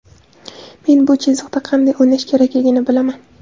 Men bu chiziqda qanday o‘ynash kerakligini bilaman.